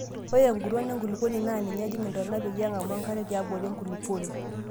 Ore enguton enkulukuoni naa ninye ejing' ntonaa peyie eng'amu enkare tiabori enkulupuoni.